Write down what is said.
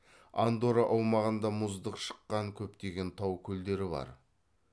андорра аумағында мұздық шыққан көптеген тау көлдері бар